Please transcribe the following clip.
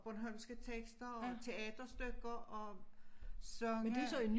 Bornholmske tekster og teaterstykker og sange